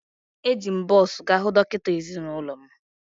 Eji m bọs gaa hụ dọkịta ezinụlọ m